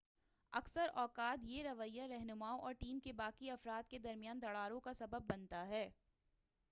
اکثر اوقات یہ رویّہ رہنماؤں اور ٹیم کے باقی افراد کے درمیان دراڑوں کا سبب بنتا ہے